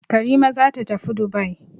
Karima za ta tafi Dubai.